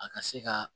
A ka se ka